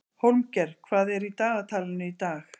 Hólmgeir, hvað er í dagatalinu í dag?